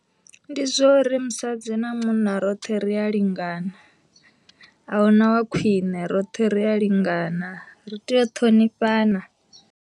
Ndi zwa uri musadzi na munna roṱhe ri a lingana, ahuna wa khwine roṱhe ri a lingana ri tea u ṱhonifhana.